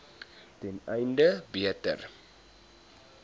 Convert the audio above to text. ten einde beter